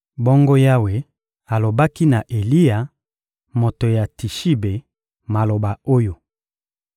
Bongo Yawe alobaki na Eliya, moto ya Tishibe, maloba oyo: